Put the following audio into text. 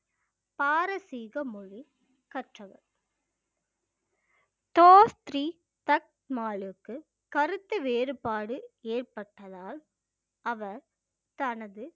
பாரசீக மொழி கற்றவர் தோஸ் த்ரி தக் மாலுக்கு கருத்து வேறுபாடு ஏற்பட்டதால் அவர் தனது